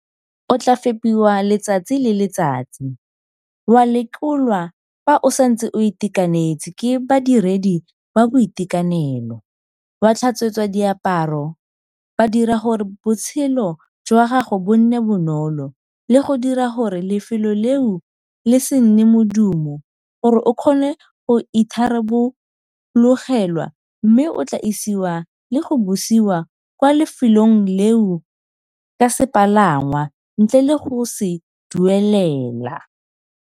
O tla fepiwa letsatsi le letsatsi, wa lekolwa fa o santse o itekanetse ke badiredi ba boitekanelo, wa tlhatswetswa diaparo, ba dira gore botshelo jwa gago bo nne bonolo le go dira gore lefelo leo le se nne modumo gore o kgone go itharabologelwa mme o tla isiwa le go busiwa kwa lefelong leo ka sepalangwa ntle le go se duelela.